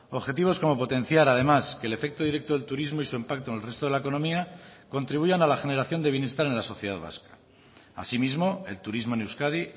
objetivos como potenciar además que el efecto directo del turismo y su impacto en el resto de la economía contribuyan a la generación de bienestar en la sociedad vasca asimismo el turismo en euskadi